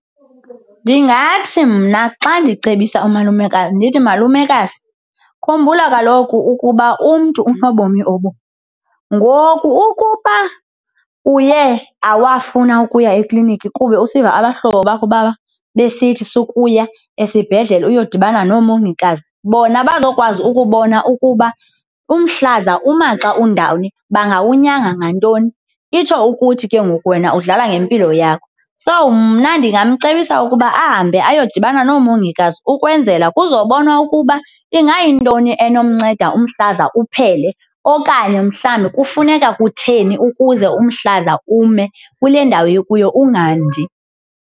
Ndingathi mna xa ndicebisa umalumekazi ndithi, malumekazi, khumbula kaloku ukuba umntu unobomi obunye. Ngoku ukuba uye awafuna ukuya ekliniki kube usiva abahlobo bakho besithi sukuya esibhedlele uyodibana noomgongikazi, bona bazokwazi ukubona ukuba umhlaza umaxa undawoni bangawunyanga ngantoni, itsho ukuthi ke ngoku wena udlala ngempilo yakho. So, mna ndingamcebisa ukuba ahambe ayodibana noomongikazi ukwenzela kuzobonwa ukuba ingayintoni enomnceda umhlaza uphele okanye mhlawumbi kufuneka kutheni ukuze umhlaza ume kule ndawo ukuyo ungandi.